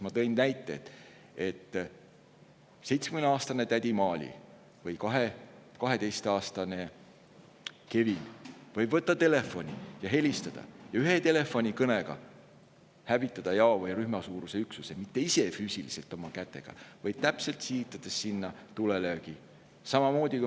Ma tõin näite, et 70‑aastane tädi Maali või 12‑aastane Kevin võib võtta telefoni ja helistada ning ühe telefonikõnega hävitada jao või rühma suuruse üksuse, mitte füüsiliselt oma kätega, aga aidates täpselt sihitada tulelööki.